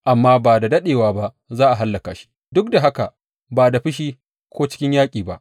Amma ba da daɗewa ba za a hallaka shi, duk da haka ba da fushi ko cikin yaƙi ba.